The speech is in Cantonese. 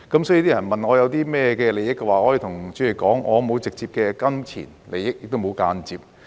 所以，人們問我有甚麼利益的話，我可以對主席說，我沒有直接的金錢利益，也沒有間接的。